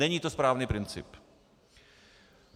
Není to správný princip.